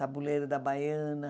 Tabuleiro da Baiana.